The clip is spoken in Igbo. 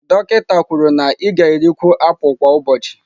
Dọkịta kwuru na ị ga-erikwu apụl kwa ụbọchị.